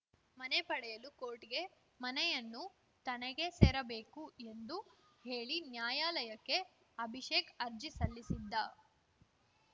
ಮನೆ ಪಡೆಯಲು ಕೋರ್ಟ್‌ಗೆ ಮನೆಯನ್ನು ತನಗೆ ಸೇರಬೇಕು ಎಂದು ಹೇಳಿ ನ್ಯಾಯಾಲಯಕ್ಕೆ ಅಭಿಷೇಕ್‌ ಅರ್ಜಿ ಸಲ್ಲಿಸಿದ್ದ